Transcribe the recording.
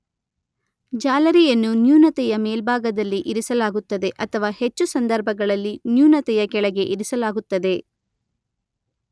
ಜಾಲರಿಯನ್ನು ನ್ಯೂನತೆಯ ಮೇಲ್ಭಾಗದಲ್ಲಿ ಇರಿಸಲಾಗುತ್ತದೆ ಅಥವಾ ಹೆಚ್ಚು ಸಂದರ್ಭಗಳಲ್ಲಿ ನ್ಯೂನತೆಯ ಕೆಳಗೆ ಇರಿಸಲಾಗುತ್ತದೆ.